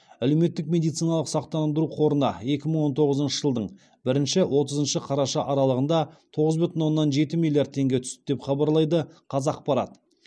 әлеуметтік медициналық сақтандыру қорына екі мың он тоғызыншы жылдың бірінші отызыншы қараша аралығында тоғыз бүтін оннан жеті миллиард теңге түсті деп хабарлайды қазақпарат